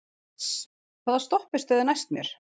Kris, hvaða stoppistöð er næst mér?